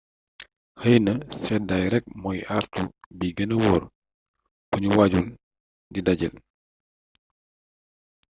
xeyna sédday rek mooy àartu bi gëna wóor bu ñu waajul di dajeel